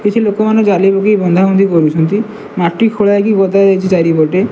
କିଛି ଲୋକମାନେ ଜାଳି ପକେଇକି ବନ୍ଧାବନ୍ଧି କରୁଛନ୍ତି ମାଟି ଖୋଲା ହେଇକି ଗଦା ଯାଇଛି ଚାରିପଟେ।